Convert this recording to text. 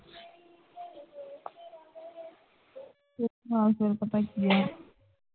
ਅੱਜ ਕੱਲ੍ਹ ਪਤਾ ਕੀ ਹੈ